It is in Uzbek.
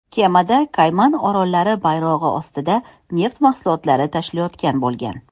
Kemada Kayman orollari bayrog‘i ostida neft mahsulotlari tashilayotgan bo‘lgan.